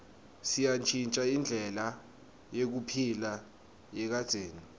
seyantjintja indlela yekuphila yakadzeni